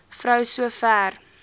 vrou so ver